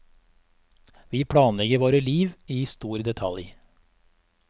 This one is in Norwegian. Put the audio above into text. Vi planlegger våre liv i stor detalj.